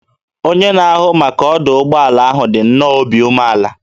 Onye na-ahụ maka ọdụ ụgbọ ala ahụ dị nnọọ obi umeala